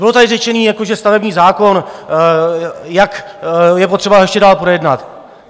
Bylo tady řečeno, že stavební zákon, jak je potřeba ho ještě dál projednat.